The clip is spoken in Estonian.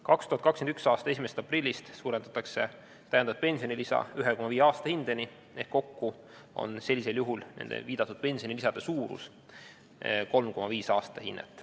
2021. aasta 1. aprillist suurendatakse täiendavat pensionilisa 1,5 aastahindeni ehk kokku on sellisel juhul nende viidatud pensionilisade suurus 3,5 aastahinnet.